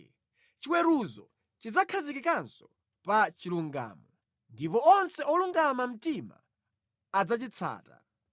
Chiweruzo chidzakhazikikanso pa chilungamo, ndipo onse olungama mtima adzachitsata.